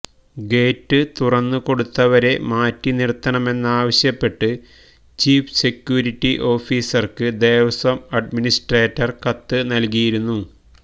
gate തുറന്നുകൊടുത്തവരെ മാറ്റിനിർത്തണമെന്നാവശ്യപ്പെട്ട് chief security ഓഫിസർക്ക് ദേവസ്വം അഡ്മിനിസ്ട്രേറ്റർ കത്ത് നൽകിയിരുന്നു